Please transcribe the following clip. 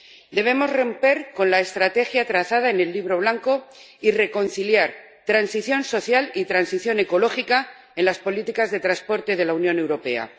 Debemos romper la estrategia trazada en el Libro Blanco y reconciliar transición social y transición ecológica en las políticas de transporte de la Unión Europea.